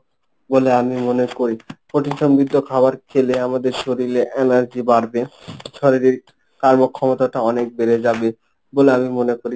বলে আমি মনে করি প্রোটিন সমৃদ্ধ খাবার খেলে আমাদের শরীলে এনার্জি বাড়বে শারীরিক কর্মক্ষমতাটা অনেক বেড়ে যাবেবলে আমি মনে করি।